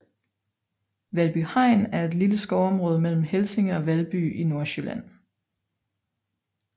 Valby Hegn er et lille skovområde mellem Helsinge og Valby i Nordsjælland